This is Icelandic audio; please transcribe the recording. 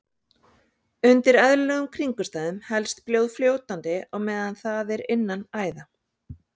Undir eðlilegum kringumstæðum helst blóð fljótandi á meðan það er innan æða.